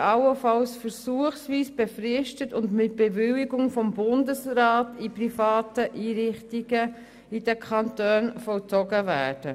Freiheitsstrafen können allenfalls versuchsweise befristet und mit Bewilligung durch den Bundesrat in privaten Einrichtungen der Kantone vollzogen werden.